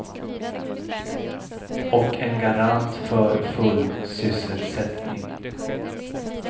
Och en garant för full sysselsättning.